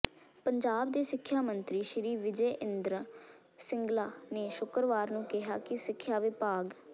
ਪੰਜਾਬ ਦੇ ਸਿੱਖਿਆ ਮੰਤਰੀ ਸ਼੍ਰੀ ਵਿਜੈ ਇੰਦਰ ਸਿੰਗਲਾ ਨੇ ਸ਼ੁੱਕਰਵਾਰ ਨੂੰ ਕਿਹਾ ਕਿ ਸਿੱਖਿਆ ਵਿਭਾਗ